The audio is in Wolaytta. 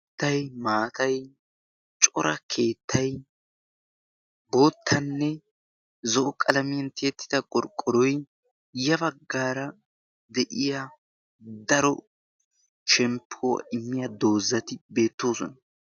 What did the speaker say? keettay maatay cora keettay boottanne zo'o qalamiyan tiyettida gorqqoroy yabaggaara de'iya daro shemppow immiya doozzati beettoosona